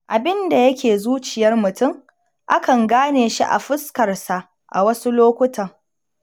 Abinda yake zuciyar mutum, a kan gane shi a fuskarsa a wasu lokutan.